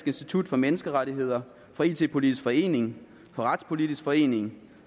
institut for menneskerettigheder fra it politisk forening fra retspolitisk forening